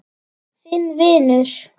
Þinn vinur.